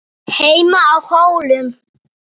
HEIMA Á HÓLUM